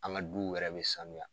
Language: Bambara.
An ka duw yɛrɛ be sanuya